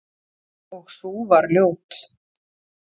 Og sú var ljót!